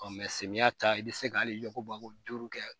samiyɛ ta i be se ka hali yako bako duuru kɛ